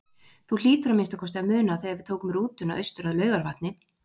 Þú hlýtur að minnsta kosti að muna þegar við tókum rútuna austur að Laugarvatni.